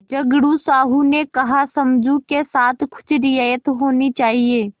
झगड़ू साहु ने कहासमझू के साथ कुछ रियायत होनी चाहिए